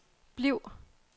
bliv